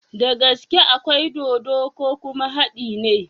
Dagaske akwai dodo ko kuma hadi ne?